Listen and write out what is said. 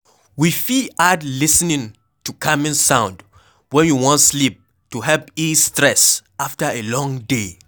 We fit add lis ten ing to calming sound when we wan sleep to help ease stress after a long day